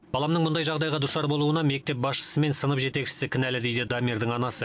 баламның мұндай жағдайға душар болуына мектеп басшысы мен сынып жетекшісі кінәлі дейді дамирдің анасы